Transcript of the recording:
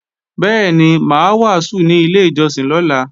Bẹ́ẹ̀ni, mà á wàásù ní ilé ìjọsìn lọ́la